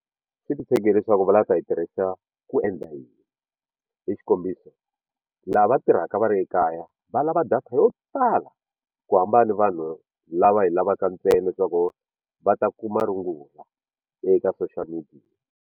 Xi titshege hileswaku va lava ku ta yi tirhisa ku endla yini hi xikombiso lava va tirhaka va ri ekaya va lava data yo tala ku hambana ni vanhu lava yi lavaka ntsena leswaku va ta kuma rungula eka social media.